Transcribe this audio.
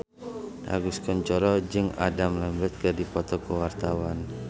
Agus Kuncoro jeung Adam Lambert keur dipoto ku wartawan